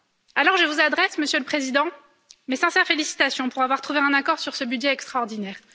Alors je vous adresse, Monsieur le Président, mes sincères félicitations pour avoir trouvé un accord sur ce budget extraordinaire.